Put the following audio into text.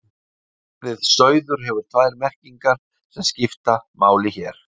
orðið sauður hefur tvær merkingar sem skipta máli hér